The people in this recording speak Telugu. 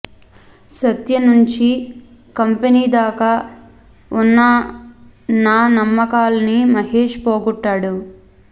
సత్య నుంచీ కంపెనీ దాకా ఉన్న నా నమ్మకాల్ని మహేష్ పోగొట్టాడు